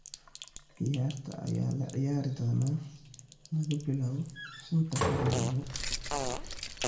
Ciyaarta ayaa la ciyaari doonaa laga bilaabo shanta habeenimo.